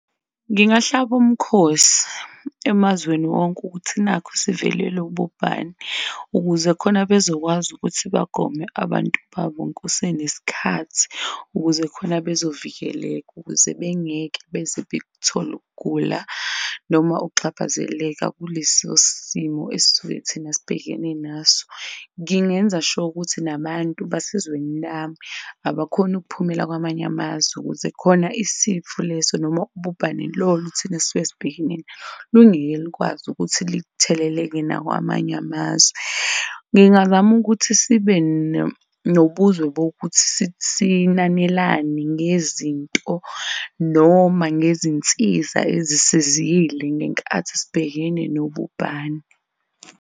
Ngingahlaba umkhosi emazweni wonke ukuthi nakhu sivelelwe ubhubhane ukuze khona bezokwazi ukuthi bagome abantu babo kusenesikhathi, ukuze khona bezovikeleka ukuze bengeke beze bekuthole ukugula noma ukuxhaphazeleka kulesosimo esisuke thina sibhekene naso. Ngingenza sure ukuthi nabantu basezweni lami, abakhoni ukuphumela kwamanye amazwe ukuze khona isifo leso noma ubhubhane lolu thina esisuke sibhekene nalo lungeke lukwazi ukuthi litheleleke nakwamanye amazwe. Ngingazama ukuthi sibe nobuzwe bokuthi sinanelane ngezinto noma ngezinsiza ezisizile ngenkathi sibhekene nobubhano.